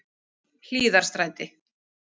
Hlíðarstræti